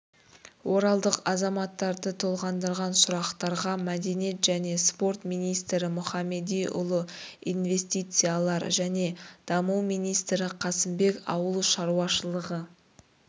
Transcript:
оралдық азаматтарды толғандырған сұрақтарға мәдениет және спорт министрі мұхамедиұлы инвестициялар және даму министрі қасымбек ауыл шаруашылығы